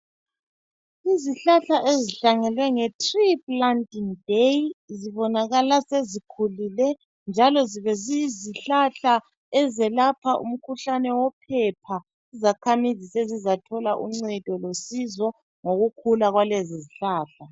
Izihlahla ezihlanyelwe nge tree planting day, zibonakala sezikhulile njalo zibeziyizihlahla ezelapha umkhuhlane wophepha izakhamizi sezizathola uncedo losizo ngokukhula kwalezizihlahla.